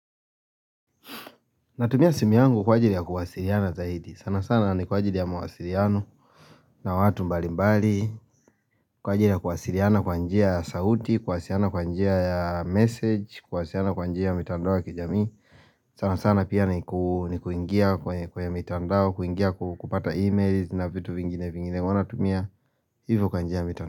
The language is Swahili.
Natumia simu yangu kwa ajili ya kuwasiliana zaidi. Sana sana ni kwa ajili ya mawasiriano na watu mbali mbali. Kwa ajili ya kuwasiliana kwa njia ya sauti, kuwasiliana kwa njia ya message, kuwasiliana kwa njia ya mitandao ya kijamii. Sana sana pia ni kuingia kwenye mitandao, kuingia kupata emails na vitu vingine vingine. Huwa natumia hivo kwa njia ya mitandao.